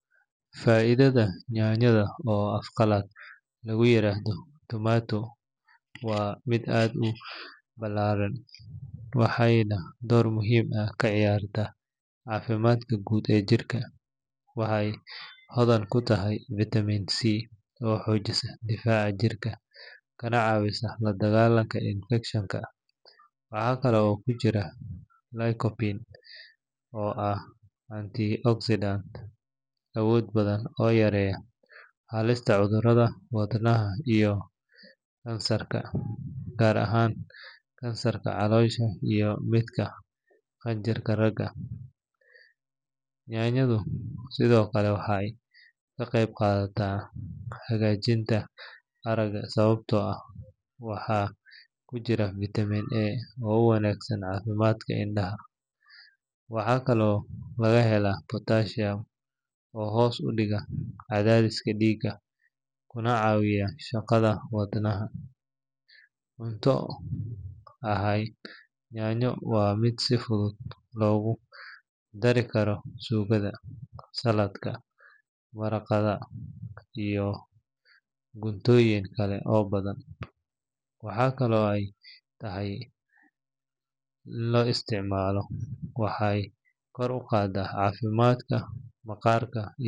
Fa’iidada yaanyada oo af qalaad lagu yiraahdo tomato waa mid aad u balaadhan, waxayna door muhiim ah ka ciyaartaa caafimaadka guud ee jirka. Waxay hodan ku tahay vitamin C oo xoojisa difaaca jirka kana caawisa la dagaalanka infakshanka. Waxa kale oo ku jirta lycopene oo ah antioxidant awood badan oo yareeya halista cudurrada wadnaha iyo kansarka, gaar ahaan kansarka caloosha iyo midka qanjirka ragga. Yaanyadu sidoo kale waxay ka qayb qaadataa hagaajinta aragga sababtoo ah waxaa ku jirta vitamin A oo u wanaagsan caafimaadka indhaha. Waxaa kaloo laga helaa potassium oo hoos u dhiga cadaadiska dhiigga kuna caawiya shaqada wadnaha. Cunto ahaan, yaanyo waa mid si fudud loogu dari karo suugada, saladhka, maraqyada iyo cuntooyin kale badan. Waxaa kaloo ay tahay cunto yar kalooriye ah, taasoo ku habboon dadka doonaya inay miisaankooda ilaaliyaan. Marka si joogto ah loo isticmaalo waxay kor u qaadaa caafimaadka maqaarka.